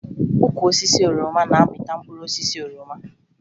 Ukwu osisi oroma na-amịta mkpụrụ osisi oroma